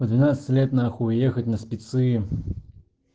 в двенадцать лет на хуй уехать на спицы